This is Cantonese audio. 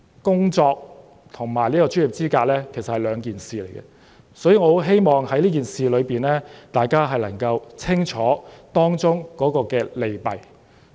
工作跟專業資格是兩碼子事，所以我希望大家能夠弄清這件事的利弊。